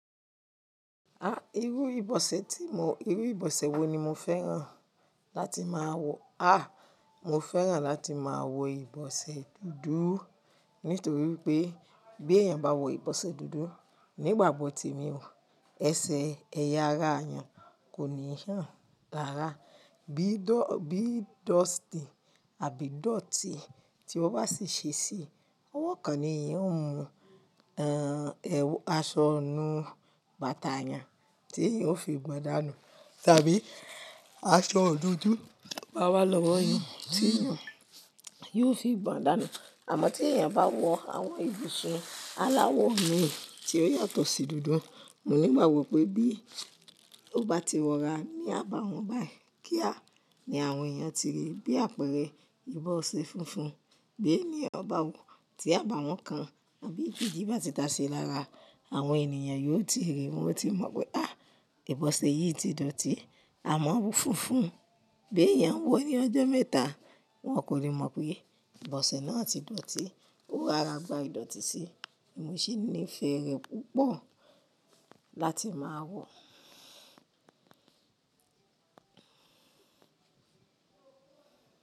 Ah, irú ìbọ̀sẹ̀ tí mo, irú ìbọ̀sẹ̀ wo ni mo fẹ́ràn láti máa wọ̀? Ah, mo fẹ́ràn láti máa wọ ìbọ̀sẹ̀ dúdú nítorí pé bí èèyàn bá wọ ìbọ̀sẹ̀ dúdú nígbàgbọ̀ tí èmi o, ẹsẹ̀ ẹ̀yà ara èèyàn kò ní hàn rara bí dọ̀, bí dusty àbí ìdọ̀tí tí ó bá sì ṣe sí i, ọwọ́ kan ni èèyàn ó mú, ẹ́, aṣọ inú bàtà èèyàn tí èèyàn ó fi gbọ́n dànù, tàbí aṣọ dúdú bá wá lọ́wọ́ èèyàn tí èèyàn yóò fi gbọ́n dànù. Àmọ́ tí èèyàn bá wọ àwọn ibose aláwọ̀ mì tí ó yàtọ̀ sí dúdú, mo nígbàgbo pé bí ó bá ti wọra ní àbáwọ́n báyìí kíá ni àwọn èèyàn ti rí i bí àpẹẹrẹ ìbọ̀sẹ̀ funfun. Bí èèyàn bá wọ̀ tí àbáwọ́n kan àbí ìdotí bá ti dáa ṣi lára, àwọn ènìyàn yóò ti rí i, wọn ó ti mọ̀ pé à, ìbọ̀sẹ̀ yìí ti dọ̀tí. Bí èèyàn bá wọ̀ tí àbáwọ́n kan àbí ìdotí bá ti dáa ṣi lára, àwọn ènìyàn yóò ti rí i, wọn ó ti mọ̀ pé à, ìbọ̀sẹ̀ yìí ti dọ̀tí. Ó ri ara gba ìdọ̀tí sí i, mo se nífẹ̀ẹ́ rẹ̀ púpọ̀ láti máa wọ̀